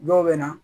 Dɔw bɛ na